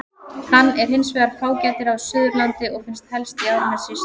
Hann er hins vegar fágætari á Suðurlandi og finnst helst í Árnessýslu.